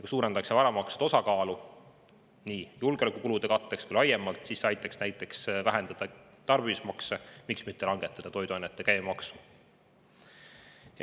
Kui suurendatakse varamaksude osakaalu, nii julgeolekukulude katteks kui ka laiemalt, siis see aitaks näiteks vähendada tarbimismakse ja miks mitte langetada toiduainete käibemaksu.